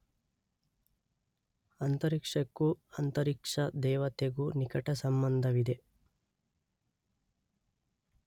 ಅಂತರಿಕ್ಷಕ್ಕೂ ಅಂತರಿಕ್ಷ ದೇವತೆಗೂ ನಿಕಟ ಸಂಬಂಧವಿದೆ.